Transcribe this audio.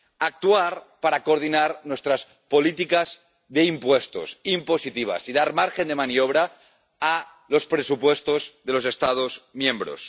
Actuar para coordinar nuestras políticas de impuestos, impositivas, y dar margen de maniobra a los presupuestos de los Estados miembros.